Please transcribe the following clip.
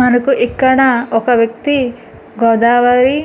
మనకు ఇక్కడ ఒక వ్యక్తి గోదావరి